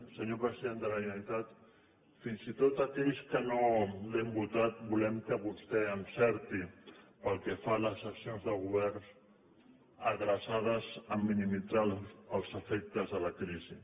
senyor president de la generalitat fins i tot aquells que no l’hem votat volem que vostè l’encerti pel que fa a les accions de govern adreçades a minimitzar els efectes de la crisi